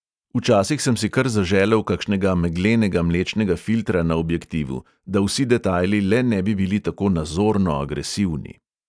Včasih sem si kar zaželel kakšnega meglenega mlečnega filtra na objektivu, da vsi detajli le ne bi bili tako nazorno agresivni.